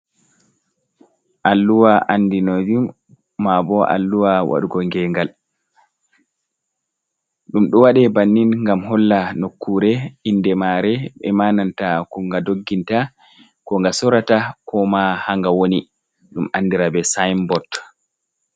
Alluwa andinoy jum ma bo alluwa waɗugo gengal, ɗum ɗo waɗa bannin ngam holla nokkure inde mare, e ma nanta ko nga dogginta, ko nga sorata, ko ma ha nga woni ɗum andira be sinbot.